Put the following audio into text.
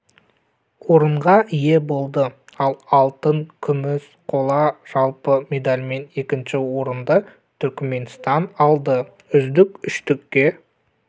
орынға ие болды ал алтын күміс қола жалпы медальмен екінші орынды түрікменстан алды үздік үштікке